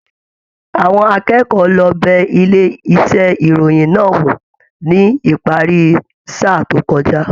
Àwọn akẹ́kọ̀ọ́ lọ bẹ ilé iṣẹ ìròyìn náà wò ní ìparí sáà to kọjá.